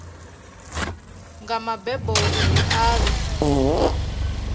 nga mbebo uri a vhe